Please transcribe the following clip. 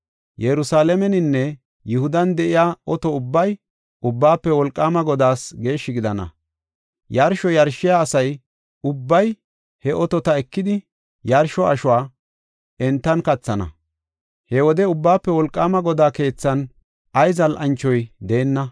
Yerusalaameninne Yihudan de7iya oto ubbay Ubbaafe Wolqaama Godaas geeshshi gidana. Yarsho yarshiya asa ubbay he otota ekidi, yarsho ashuwa entan kathana. He wode Ubbaafe Wolqaama Godaa keethan ay zal7anchoy deenna.